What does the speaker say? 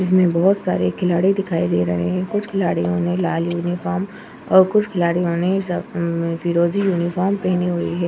इसमें बहुत सारे खिलाड़ी दिखाई दे रहे हैं कुछ खिलाड़ीयों ने लाल यूनिफॉर्म और कुछ खिलाड़ीयों ने अ फिरोजी यूनिफॉर्म पहनी हुई है।